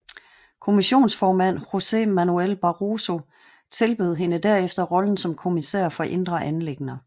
Kommissionsformand José Manuel Barroso tilbød hende derefter rollen som kommissær for indre anliggender